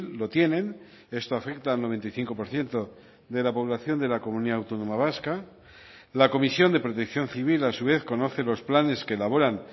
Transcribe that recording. lo tienen esto afecta al noventa y cinco por ciento de la población de la comunidad autónoma vasca la comisión de protección civil a su vez conoce los planes que elaboran